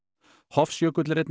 Hofsjökull er einn